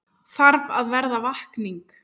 Þarf að verða vakning